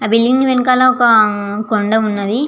ఆ బిల్డింగ్ వెనకాల ఒక కొండ ఉన్నది.